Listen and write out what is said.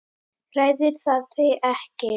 Hræðir það þig ekkert?